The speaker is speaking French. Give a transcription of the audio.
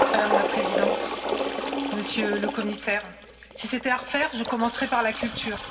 Madame la Présidente, Monsieur le Commissaire, si c'était à refaire, je commencerais par la culture.